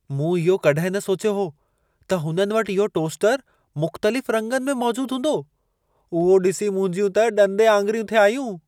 मूं इहो कॾहिं न सोचियो हो त हुननि वटि इहो टोस्टरु मुख़्तलिफ़ रंगनि में मौजूद हूंदो, उहो ॾिसी मुंहिंजियूं त ॾंदे आङुरियूं थे आयूं।